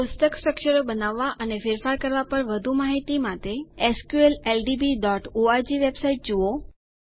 કોષ્ટક સ્ટ્રકચરો બનાવવાં અને ફેરફાર કરવાં પર વધુ માહિતી માટે hsqldbઓર્ગ વેબસાઈટ જુઓ